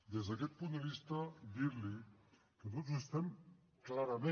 des d’aquest punt de vista dirli que tots estem clarament